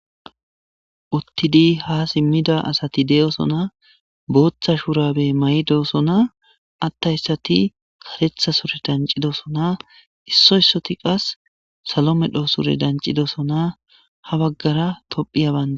uttidi ha simmida asati de'sona booththa shurabe may'dosona attayssati karetha sure dancidosona issoysoti qas salome dhoo sure dancidosona ha baggara tophiya banda